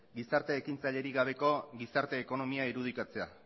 gizarte ekintzailerik gabeko gizarte ekonomia irudikatzea